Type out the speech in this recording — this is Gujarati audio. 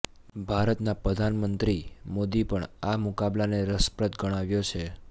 ભારતના પ્રધાનમંત્રી મોદી પણ આ મુકાબલાને રસપ્રદ ગણાવ્યો છે